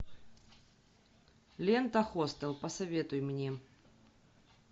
лента хостел посоветуй мне